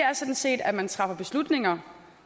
er sådan set at man træffer beslutninger